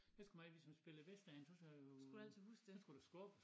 Der skulle ik hvis man spillede Whist derhenne så sagde så skulle man skubbe